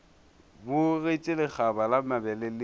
bogetše lekgaba la mabele le